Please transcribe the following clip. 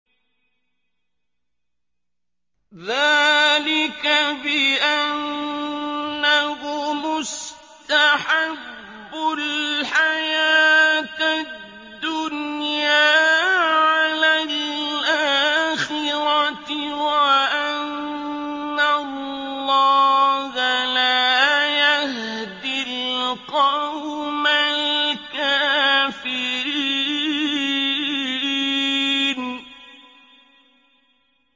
ذَٰلِكَ بِأَنَّهُمُ اسْتَحَبُّوا الْحَيَاةَ الدُّنْيَا عَلَى الْآخِرَةِ وَأَنَّ اللَّهَ لَا يَهْدِي الْقَوْمَ الْكَافِرِينَ